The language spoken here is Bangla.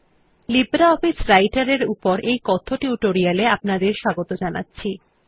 লিব্রিঅফিস রাইটের এর উপর কথ্য টিউটোরিয়াল এ আপনাদের স্বাগত জানাচ্ছি